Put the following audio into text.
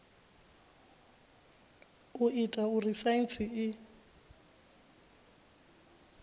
u ita uri saintsi i